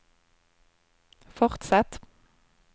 fortsett